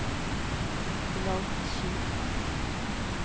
flaggskip